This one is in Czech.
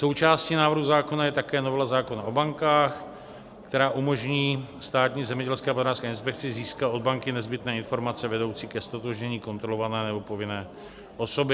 Součástí návrhu zákona je také novela zákona o bankách, která umožní Státní zemědělské a potravinářské inspekci získat od banky nezbytné informace vedoucí ke ztotožnění kontrolované nebo povinné osoby.